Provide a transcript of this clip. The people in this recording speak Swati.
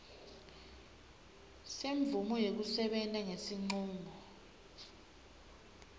semvumo yekusebenta ngesincumo